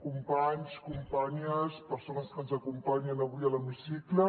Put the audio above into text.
companys companyes persones que ens acompanyen avui a l’hemicicle